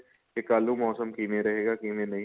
ਕੀ ਕੱਲ ਨੂੰ ਮੋਸਮ ਕਿਵੇਂ ਰਹੇਗਾ ਕਿਵੇਂ ਨਹੀਂ